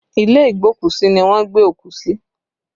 Ilé igbokusi ni wọ́n gbé òkú sí